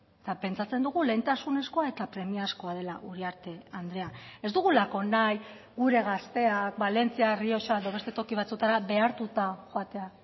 eta pentsatzen dugu lehentasunezkoa eta premiazkoa dela uriarte andrea ez dugulako nahi gure gazteak valentzia errioxa eta beste toki batzuetara behartuta joatea